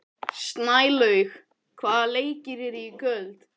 Snælaug, hvaða leikir eru í kvöld?